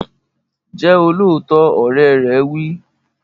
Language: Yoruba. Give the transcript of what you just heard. Jẹ́ olóòótọ́! Ọ̀rẹ́ rẹ wí.